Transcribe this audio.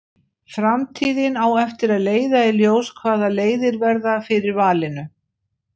Framtíðin á eftir að leiða í ljós hvaða leiðir verða fyrir valinu.